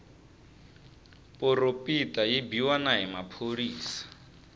poropita yi biwa na hi maphorisa